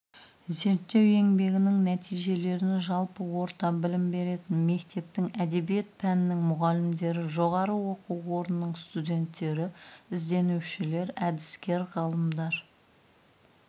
зерттеу еңбегінің нәтижелерін жалпы орта білім беретін мектептің әдебиет пәнінің мұғалімдері жоғары оқу орнының студенттері ізденушілер әдіскер ғалымдар